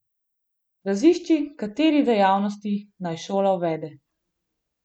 Razišči, kateri dejavnosti naj šola uvede.